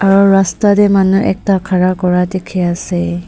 aru rasta te manu ekta khara kora dekhi ase.